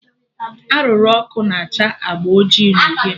Arụrụ ọkụ na acha agba oji na uhie